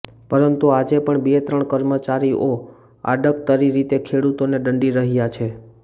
પરંતુ આજે પણ બે ત્રણ કર્મચારીઓ આડકતરી રીતે ખેડુતોને દંડી રહ્યા છે